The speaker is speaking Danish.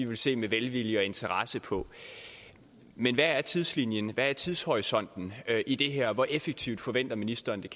vil se med velvilje og interesse på men hvad er tidslinjen hvad er tidshorisonten i det her hvor effektivt forventer ministeren